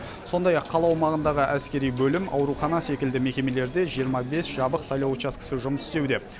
сондай ақ қала аумағындағы әскери бөлім аурухана секілді мекемелерде жиырма бес жабық сайлау учаскесі жұмыс істеуде